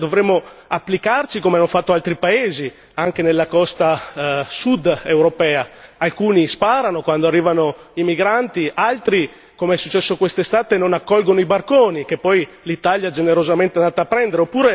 Ma, forse, dovremmo applicarci come hanno fatto altri paesi anche nella costa sud europea alcuni sparano quando arrivano i migranti, altri come è successo quest'estate non accolgono i barconi, che poi l'Italia, generosamente, si adatta a prendere.